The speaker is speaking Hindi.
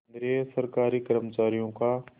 केंद्रीय सरकारी कर्मचारियों का